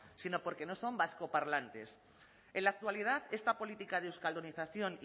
sino porque no son vascoparlantes en la actualidad esta política de euskaldunización